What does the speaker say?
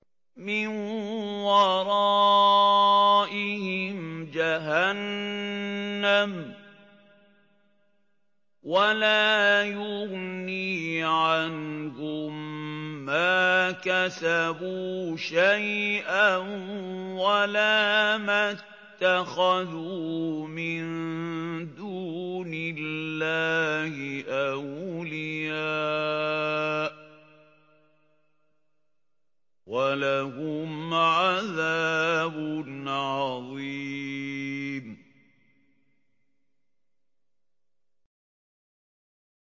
مِّن وَرَائِهِمْ جَهَنَّمُ ۖ وَلَا يُغْنِي عَنْهُم مَّا كَسَبُوا شَيْئًا وَلَا مَا اتَّخَذُوا مِن دُونِ اللَّهِ أَوْلِيَاءَ ۖ وَلَهُمْ عَذَابٌ عَظِيمٌ